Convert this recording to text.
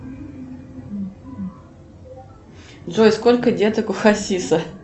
джой сколько деток у хасиса